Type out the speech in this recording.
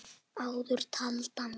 Áður taldar með